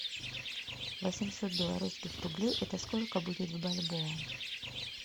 восемьсот белорусских рублей это сколько будет в бальбоа